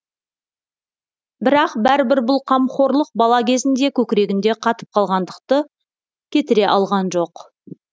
бірақ бәрібір бұл қамқорлық бала кезінде көкірегінде қатып қалғандықты кетіре алған жоқ